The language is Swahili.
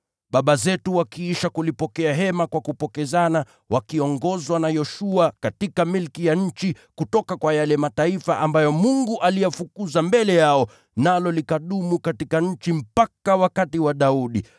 Baba zetu wakiisha kulipokea hema kwa kupokezana wakiongozwa na Yoshua katika milki ya nchi kutoka kwa yale mataifa ambayo Mungu aliyafukuza mbele yao, nalo likadumu katika nchi mpaka wakati wa Daudi,